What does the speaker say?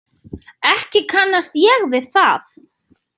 Ekki kannast ég við það.